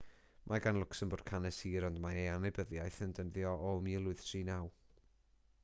mae gan lwcsembwrg hanes hir ond mae ei annibyniaeth yn dyddio o 1839